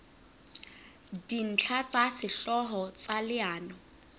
dintlha tsa sehlooho tsa leano